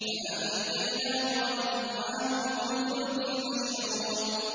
فَأَنجَيْنَاهُ وَمَن مَّعَهُ فِي الْفُلْكِ الْمَشْحُونِ